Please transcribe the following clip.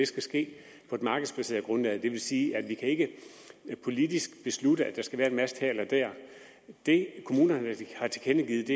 skal ske på et markedsbaseret grundlag det vil sige at vi ikke politisk kan beslutte at der skal være en mast her eller der det kommunerne har tilkendegivet